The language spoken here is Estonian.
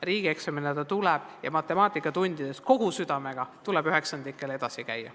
Riigieksamina ta tuleb ja matemaatikatundides tuleb üheksandikel kohusetundlikult edasi käia.